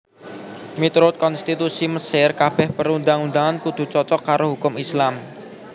Miturut konstitusi Mesir kabèh perundang undangan kudu cocok karo hukum Islam